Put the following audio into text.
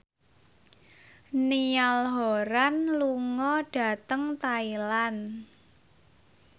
Niall Horran lunga dhateng Thailand